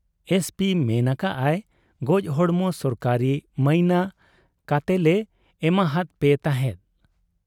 SP ᱢᱮᱱ ᱟᱠᱟᱜ ᱟᱭ, ᱜᱚᱡᱦᱚᱲᱢᱚ ᱥᱚᱨᱠᱟᱨᱤ ᱢᱟᱭᱤᱱᱟ ᱠᱟᱛᱮᱞᱮ ᱮᱢᱟᱦᱟᱫ ᱯᱮ ᱛᱟᱦᱮᱸᱫ ᱾